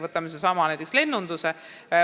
Võtame näiteks sellesama lennunduse.